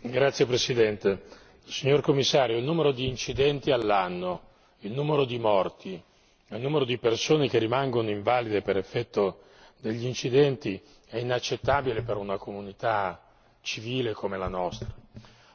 Signora Presidente, onorevoli colleghi, signor Commissario, il numero di incidenti all'anno, il numero di morti, il numero di persone che rimangono invalide per effetto degli incidenti è inaccettabile per una comunità civile come la nostra.